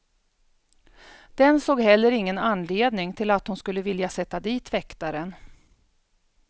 Den såg heller ingen anledning till att hon skulle vilja sätta dit väktaren.